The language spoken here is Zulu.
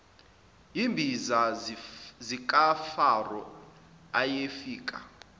yizimbiza zikafaro ayefika